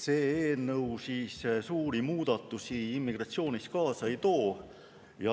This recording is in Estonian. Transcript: See eelnõu siis suuri muudatusi immigratsioonis kaasa ei too.